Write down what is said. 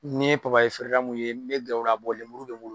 N'i in ye feerela mun ye n bɛ gɛrɛ o la lemuru bɛ n bolo.